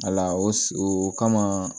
o kama